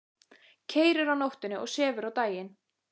Keyrir á nóttunni og sefur á daginn.